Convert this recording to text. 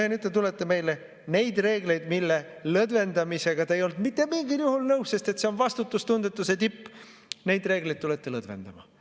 Ja nüüd te tulete meile neid reegleid, mille lõdvendamisega te ei olnud mitte mingil juhul nõus, sest see on vastutustundetuse tipp, lõdvendama.